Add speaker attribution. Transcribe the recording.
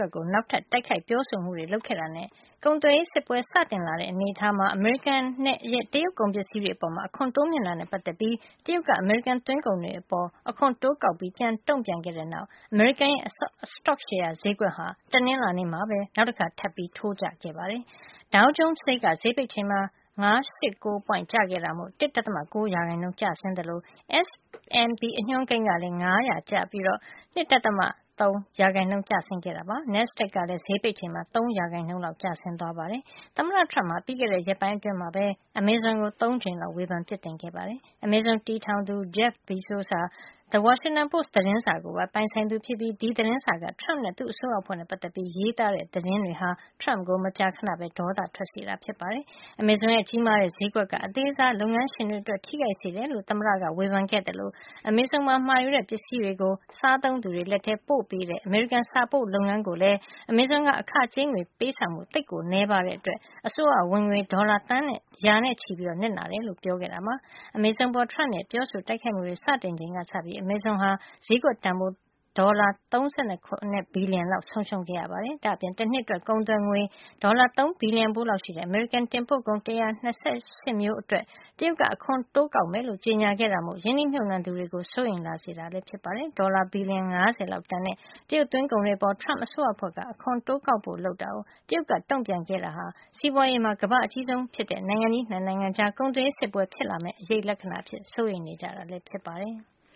Speaker 1: က်ကို နောက်ထပ် တိုက်ခိုက်ပြောဆိုမှုတွေလုပ်ခဲ့တာနဲ့ ကုန်သွယ်ရေးစစ်ပွဲ စတင်လာတဲ့အနေအထားမှာ အမေရိကန်ရဲ့ တရုတ်ကုန်ပစ္စည်းတွေအပေါ် အခွန်တိုးမြှင့်တာနဲ့ ပတ်သက်ပြီး တရုတ်က အမေရိကန်သွင်းကုန်တွေအပေါ် အခွန်တိုးကောက်ပြီး ပြန်တုံ့ပြန်ခဲ့တဲ့ နောက်မှာ အမေရိကန်ရဲ့ စတော့ရှယ်ယာဈေးကွက်ဟာ တနင်္လာနေ့မှာပဲ နောက်တခါထပ်ပြီး ထိုးကျခဲ့ပါတယ်။ Dow Jones ဈေးက ဈေးပိတ်ချိန်မှာ ၅၈၉ ပွိင့် ကျခဲ့တာမို့ ၁.၉ ရာနှုန်း ကျဆင်းသွားတာပါ။ S&P အညွှန်းကိန်းကလည်း ၅၀၀ ကျပြီး ၂.၃ % ကျဆင်းခဲ့သလို NASDAQ ကလည်း ဈေးပိတ်ချိန်မှာ ၃ ရာခိုင်နှုန်းလောက်ကျသွားပါတယ်။ သမ္မတ Trump ဟာ ပြီးခဲ့တဲ့ ရက်ပိုင်းအတွင်းမှာပဲ Amazon ကို ၃ ကြိမ်လောက် ဝေဖန်ပြစ်တင်ခဲ့တာပါ။ Amazion တည်ထောင်သူ Jeff Bezos ဟာ The Washington Post သတင်းစာကိုပါ ပိုင်သူဖြစ်ပြီး အဲဒီသတင်းစာက Trump နဲ့ သူ့အစိုးရအဖွဲ့နဲ့ ပတ်သက်ပြီး ရေးသားတဲ့ သတင်းတွေဟာ Trump ကို မကြာခဏပဲ ဒေါသထွက်စေတာ ဖြစ်ပါတယ်။ Amazon ရဲ့ ကြီးမားတဲ့ ဈေးကွက်က အသေးစားလုပ်ငန်းရှင်တွေ အတွက် ထိခိုက်စေတယ်လို့ သမ္မတ Trump က ဝေဖန်ခဲ့သလို Amazon မှာ မှာယူတဲ့ပစ္စည်းတွေကို စားသုံးသူတွေ လက်ထဲပို့ပေးတဲ့ အမေရိကန် စာပို့လုပ်ငန်းကိုလည်း Amazon က အခကြေးငွေပေးဆောင်မှု သိပ်ကို နဲပါးတဲ့ အတွက် အစိုးရဝင်ငွေ ဒေါ်လာသန်းရာနဲ့ချီ နစ်နာတယ်လို့ ပြောခဲ့တာပါ။ Amazon အပေါ် Trump ရဲ့ ပြောဆိုတိုက်ခိုက်မှုတွေ စတင်ခဲ့ချိန်ကစပြီး Amazon ဟာ ဈေးကွက်တန်ဖိုး ဒေါ်လာ ၃၇ ဘီလျံလောက် ဆုံးရှုံးခဲ့ရ ပါတယ်။ ဒါ့အပြင် တနှစ်အတွက် ကုန်သွယ်ငွေ ဒေါ်လာ ၃ ဘီလျံဖိုးလောက်ရှိတဲ့ အမေရိကန်တင်ပို့ကုန် ၁၂၈ မျိုးအတွက် တရုတ်က အခွန်တိုးကောက်မယ်လို့ ကြေညာခဲ့တာမို့ ရင်းနှီးမြှုပ်နှံသူတွေ ကိုစိုးရိမ်လာစေတာပါ။ ဒေါ်လာ ဘီလျံ ၅၀ လောက်တန်တဲ့ တရုတ်သွင်းကုန်တွေအပေါ် Trump အစိုးရအဖွဲ့က အခွန်တိုးကောက်ဖို့ လုပ်တာကို တရုတ်က ပြန်တုန့်ပြန်ခဲ့တာဟာ စီးပွါးရေးမှာ ကမ္ဘာ့အကြီးဆုံးဖြစ်တဲ့ နိုင်ငံကြီး ၂ နိုင်ငံကြား ကုန်သွယ်ရေး စစ်ပွဲဖြစ်လာမယ့် အရိပ်လက္ခဏာအဖြစ် စိုးရိမ်နေကြတာဖြစ်ပါတယ်။